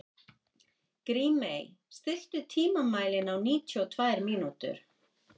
Grímey, stilltu tímamælinn á níutíu og tvær mínútur.